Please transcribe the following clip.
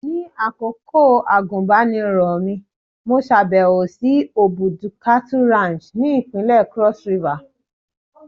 Ní àkókò àgùnbánirọ̀ mi, mo ṣàbẹ̀wò sí Obudu cattle Ranch ni ìpínlẹ̀ Cross River.